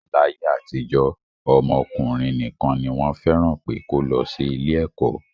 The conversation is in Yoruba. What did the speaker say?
Láyé àtijọ́, ọmọ ọkùnrin nìkan ni wọ́n fẹ́ràn pé kó lọ sí ilé ẹ̀kọ́